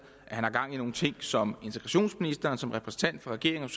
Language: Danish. at han har gang i nogle ting som integrationsministeren som repræsentant for regeringen og